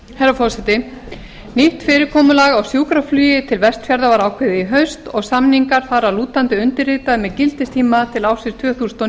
herra forseti nýtt fyrirkomulag á sjúkraflugi til vestfjarða var ákveðið í haust og samningar þar að lútandi undirritaðir með gildistíma til ársins tvö þúsund og